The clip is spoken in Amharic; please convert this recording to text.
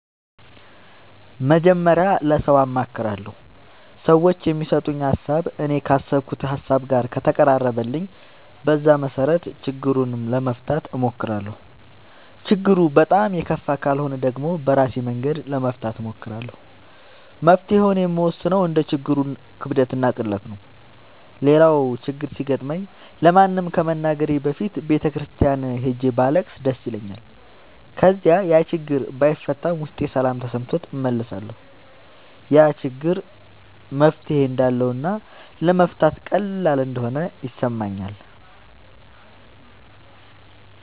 መጀመሪያ ለሠው አማክራለሁ። ሠዎቹ የሚሠጡኝ ሀሣብ እኔ ካሠብኩት ሀሳብ ጋር ከተቀራረበልኝ በዛ መሠረት ችግሩን ለመፍታት እሞክራለሁ። ችግሩ በጣም የከፋ ካልሆነ ደግሞ በራሴ መንገድ ለመፍታት እሞክራለሁ። መፍትሔውን የምወስነው እንደ ችግሩ ክብደትና ቅለት ነው። ሌላው ችግር ሲገጥመኝ ለማንም ከመናገሬ በፊት ቤተ ክርስቲያን ሄጄ ባለቅስ ደስ ይለኛል። ከዚያ ያችግር ባይፈታም ውስጤ ሠላም ተሠምቶት እመለሳለሁ። ያ ችግር መፍትሔ እንዳለውና ለመፍታት ቀላል እንደሆነ ይሠማኛል።